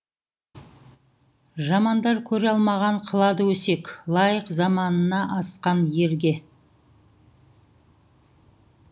жамандар көре алмаған қылады өсек лайық заманында асқан ерге